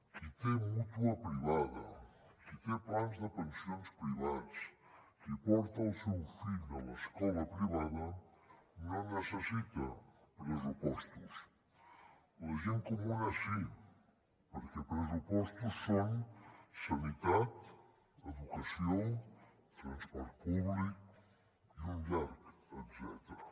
qui té mútua privada qui té plans de pensions privats qui porta el seu fill a l’escola privada no necessita pressupostos la gent comuna sí perquè pressupostos són sanitat educació transport públic i un llarg etcètera